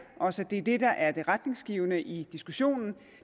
os at det er det der er det retningsgivende i diskussionen